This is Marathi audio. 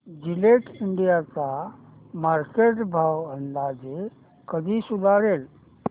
जिलेट इंडिया चा मार्केट भाव अंदाजे कधी सुधारेल